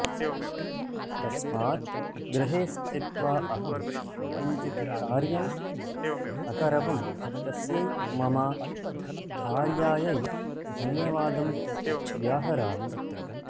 तस्मात् गृहे स्थित्वा अहं किञ्चित् कार्यम् अकरवम् तस्यै मम भार्यायै धन्यवादं व्याहरामि